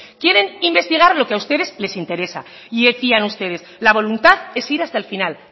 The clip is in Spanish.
quieren investigar lo que a ustedes les interesa y decían ustedes la voluntad es ir hasta el final